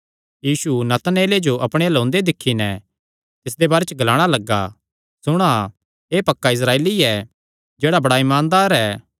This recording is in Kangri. यीशु नतनएले जो अपणे अल्ल ओंदे दिक्खी नैं तिसदे बारे च ग्लाणा लग्गा सुणा एह़ पक्का इस्राएली ऐ जेह्ड़ा बड़ा ईमानदार ऐ